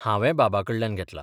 हांवें बाबाकडल्यान घेतला.